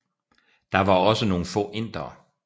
Der var også nogle få indere